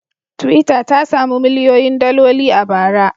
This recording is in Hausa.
Twitter ta sami miliyoyin daloli a bara.